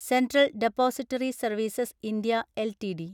central depository services (India) LTD